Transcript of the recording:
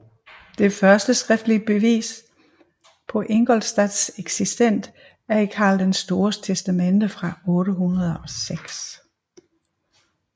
Det første skriftlige bevis på Ingolstadts eksistens er i Karl den Stores testamente fra 806